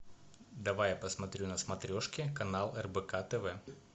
давай я посмотрю на смотрешке канал рбк тв